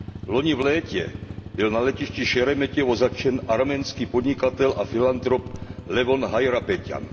Loni v létě byl na letišti Šeremetěvo zatčen arménský podnikatel a filantrop Levon Hajrapeťjan.